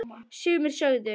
Sumir sögðu: